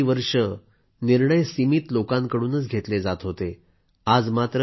यापूर्वी काही वर्षे आधी निर्णय सीमित लोकांकडून घेतले जात होते